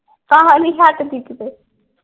ਨੀ ਹਠਦੀ ਕੀਤੇ।